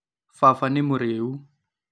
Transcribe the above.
Baba nĩ mũrĩu